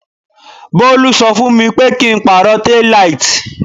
Bolu ṣọ fún mi pé kí n pàrọ̀ tail light.